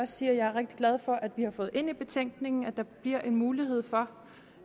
sige at jeg er rigtig glad for at vi har fået ind i betænkningen at der bliver en mulighed for